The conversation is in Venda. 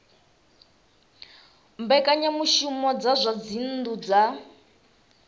mbekanyamushumo dza zwa dzinnu dza